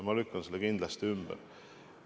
Ma lükkan selle kindlasti ümber.